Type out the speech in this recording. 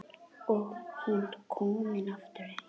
Og hún komin aftur heim.